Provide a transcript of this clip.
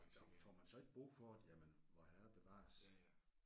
Og får man så ikke brug for det jamen vorherre bevares